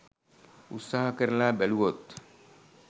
උත්සාහ කරලා බැලුවොත්.